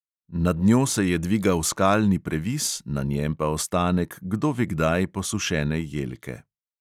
Nad njo se je dvigal skalni previs, na njem pa ostanek kdo ve kdaj posušene jelke.